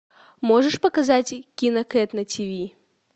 можешь показать кинокэт на ти ви